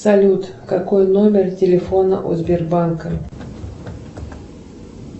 салют какой номер телефона у сбербанка